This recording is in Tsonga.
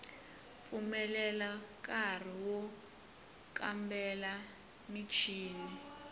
pfumelela nkari wo kambela michini